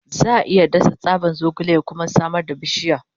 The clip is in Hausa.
Za a iya dasa tsaban zogale ya kuma samar da bishiya.